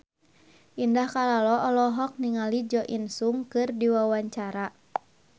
Indah Kalalo olohok ningali Jo In Sung keur diwawancara